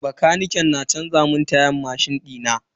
Bakaniken na canza mun tayan mashin dina.